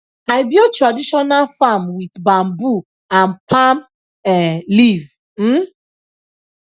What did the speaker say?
i build traditional farm with bamboo and palm um leaf um